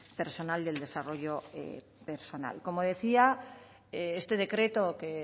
personal del desarrollo personal como decía este decreto que